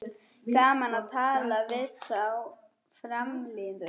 Gaman að tala við þá framliðnu